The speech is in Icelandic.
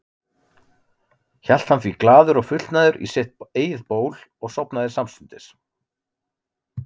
Hélt hann því glaður og fullnægður í sitt eigið ból og sofnaði samstundis.